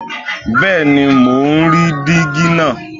Bẹ́ẹ̀ni mo ń rí díígí náà